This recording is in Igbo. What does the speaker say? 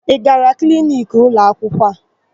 Ị gara kliniki ụlọakwụkwọ?